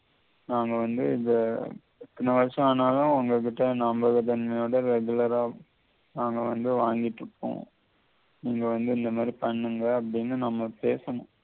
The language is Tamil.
நாங்க வந்து எத்தின வருஷம் ஆனாலும் உங்ககிட்ட regular அ நாங்க வந்து வாங்கிட்டு போவோம் நீங்க வந்து நீங்க அப்படின்னு நம்ம பேசணும்